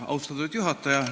Austatud juhataja!